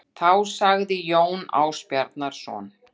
Þá sagði Jón Ásbjarnarson